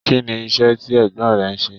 Kínní iṣẹ tí ẹ̀gbọ́n rẹ n ṣe?